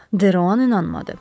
De Ran inanmadı.